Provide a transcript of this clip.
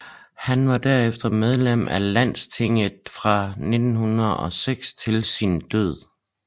Han var derefter medlem af Landstinget fra 1906 til sin død